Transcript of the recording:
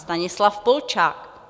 Stanislav Polčák.